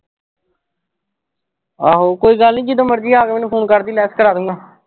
ਆਹੋ ਕੋਈ ਗੱਲ ਜਦੋਂ ਮਰਜੀ ਆ ਕੇ ਮੈਨੂੰ phone ਕਰਦੀ less ਕਰਾਦੂੰਗਾ।